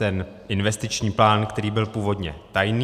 Ten investiční plán, který byl původně tajný.